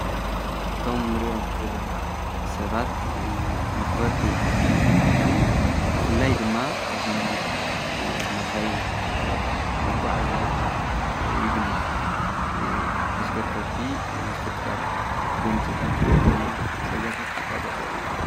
እቶም ንርዮም ዘለና ሰባት መኽበርቲ ሕጊ ኾይኖም ብፍላይ ድማ ኣብ ናይ መኻይን መጕዕ እዚያ ወይ ድማ ተሽከርከርቲ ዝፍጠር ጐንፅታት ወይ ድማ ሓደጋታት ዝቋጻጸር እየ፡፡